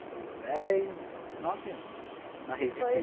trabalhei dez, nove anos na rede de física.